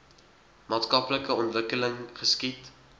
maatskaplike ontwikkeling geskied